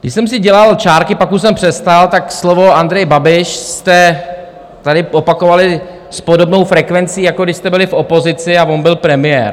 Když jsem si dělal čárky, pak už jsem přestal, tak slovo Andrej Babiš jste tady opakovali s podobnou frekvencí, jako když jste byli v opozici a on byl premiér.